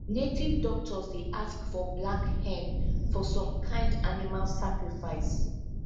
native doctors dey ask for black hen for some kind animal sacrifice